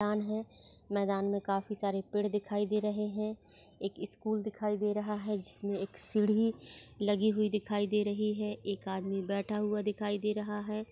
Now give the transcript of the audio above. मैदान है मैदान मे काफी सारे पेड़ दिखाई दे रहे हैं एक स्कूल दिखाई दे रहा है। जिसमे एक सीढी लगी हुई दिखाई दे रही है एक आदमी बैठा हुआ दिखाई दे रहा हैं।